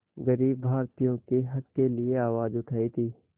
ग़रीब भारतीयों के हक़ के लिए आवाज़ उठाई थी